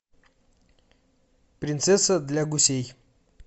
принцесса для гусей